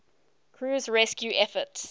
crew's rescue efforts